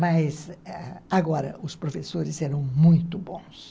Mas agora os professores eram muito bons.